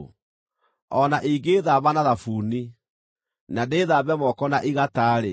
O na ingĩĩthamba na thabuni, na ndĩĩthambe moko na igata-rĩ,